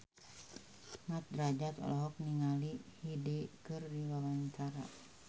Mat Drajat olohok ningali Hyde keur diwawancara